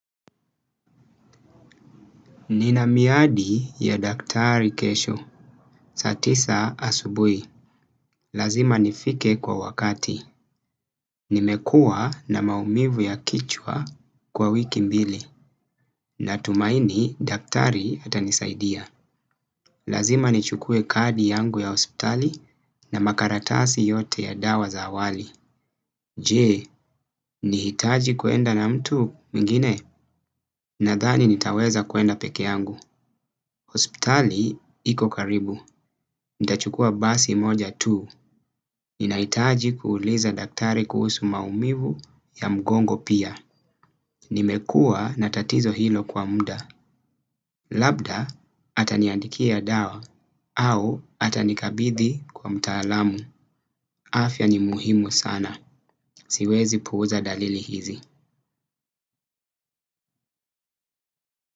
Nina miadi ya daktari kesho. Saa tisa asubuhi. Lazima nifike kwa wakati. Nimekua na maumivu ya kichwa kwa wiki mbili. Natumaini daktari atanisaidia. Lazima nichukue kadi yangu ya hospitali na makaratasi yote ya dawa za awali. Jee, nihitaji kuenda na mtu mingine? Nadhani nitaweza kuenda pekee yangu. Hospitali iko karibu. Nitachukua basi moja tu, ninahitaji kuuliza daktari kuhusu maumivu ya mgongo pia. Nimekuwa na tatizo hilo kwa muda, labda ataniandikia dawa au atanikabidhi kwa mtaalamu. Afya ni muhimu sana, siwezi puuza dalili hizi.